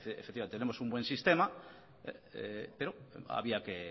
efectivamente tenemos un buen sistema pero había que